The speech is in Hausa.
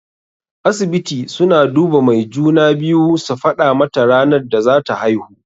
Asibiti suna duba mai juna-biyu su faɗa mata ranar da zata haihu.